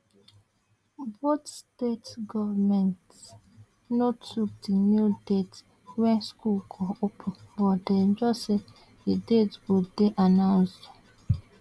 both state goments no tok di new date wen school go open but dem just say di date go dey announced